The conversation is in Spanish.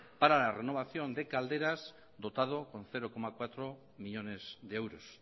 para la renovación de calderas dotado con cero coma cuatro millónes de euros